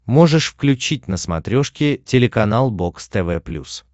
можешь включить на смотрешке телеканал бокс тв плюс